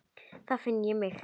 Þá finn ég mig.